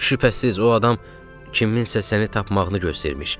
Şübhəsiz, o adam kiminsə səni tapmağını görmüş.